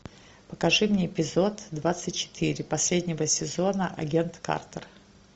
покажи мне эпизод двадцать четыре последнего сезона агент картер